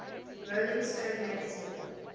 rolling stone magazine